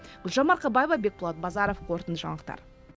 гүлжан марқабаева бекболат базаров қорытынды жаңалықтар